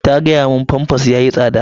Ta gaya mun famfas yayi tsada.